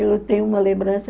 Eu tenho uma lembrança.